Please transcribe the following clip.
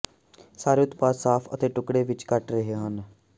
ਸਾਰੇ ਉਤਪਾਦ ਸਾਫ਼ ਅਤੇ ਟੁਕੜੇ ਵਿੱਚ ਕੱਟ ਰਹੇ ਹਨ